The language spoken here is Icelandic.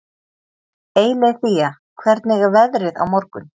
Eileiþía, hvernig er veðrið á morgun?